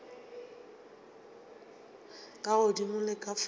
ka godimo le ka fase